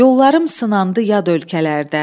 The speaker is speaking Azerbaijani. Yollarım sınandı yad ölkələrdə.